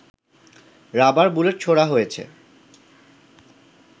rubber bullet ছোঁড়া হয়েছে